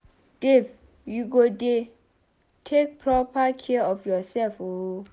Dave you go dey take proper care of yourself oo.